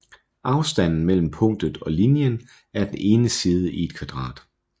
Afstanden mellem punktet og linjen er den ene side i et kvadrat